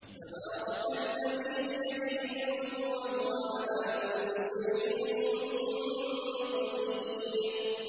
تَبَارَكَ الَّذِي بِيَدِهِ الْمُلْكُ وَهُوَ عَلَىٰ كُلِّ شَيْءٍ قَدِيرٌ